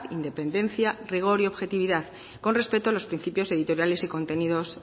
independencia rigor y objetividad con respeto a los principios editoriales y contenidos